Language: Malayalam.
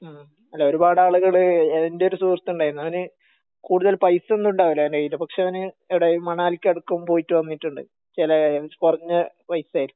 മ്മ്ഹ് അല്ല ഒരുപാട് ആളുകള് എൻ്റെ ഒരു സുഹൃത്ത് ഉണ്ടായിരുന്നു അവന് കൂടുതൽ പൈസ ഒന്നും ഉണ്ടാവില്ല അവൻ്റെ കയ്യിൽ പക്ഷെ അവൻ എടേ മണാലിക്ക് എടക് പോയിട്ട് വന്നിട്ടുണ്ട് ചെലെ കൊറഞ്ഞ പൈസേറ്റ്